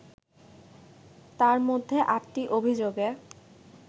তার মধ্যে আটটি অভিযোগে